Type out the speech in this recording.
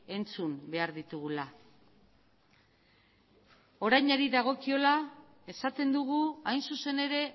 entzun behar ditugula orainari dagokiola esaten dugu hain zuzen ere